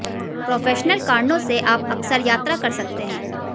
professional कारणों से आप अक्सर यात्रा कर सकते हैं